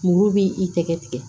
Muru b'i i tɛgɛ tigɛ